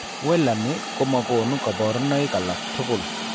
Wallani koma konu koborunaik alagtugul